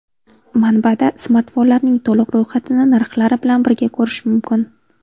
Manbada smartfonlarning to‘liq ro‘yxatini narxlari bilan birga ko‘rish mumkin.